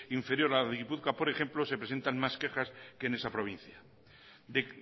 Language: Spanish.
inferior a la de gipuzkoa por ejemplo se presentan más quejas que en esa provincia de